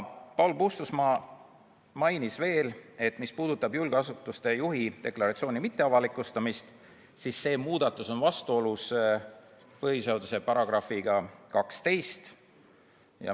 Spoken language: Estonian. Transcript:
Paul Puustusmaa mainis ka, et muudatus, mis puudutab julgeasutuse juhi deklaratsiooni mitteavalikustamist, on vastuolus põhiseaduse §-ga 12.